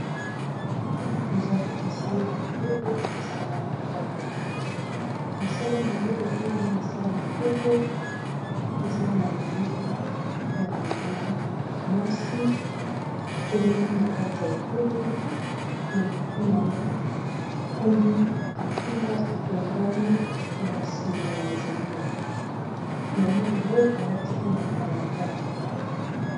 Awa ezali mosala ya mayele na mosala ya maboko mosala ya mayele pe zla mosala ya maboko, eza na eleli ya mama mwasi telemi na kati ya etemeli na motu na yo akumbi kitunga etongami na basinga ya nzete mama yango alati pe matalatala.